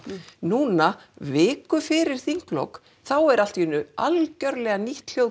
núna viku fyrir þinglok þá er allt í einu algjörlega nýtt hljóð